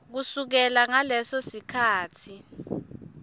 kusukela ngaleso sikhatsi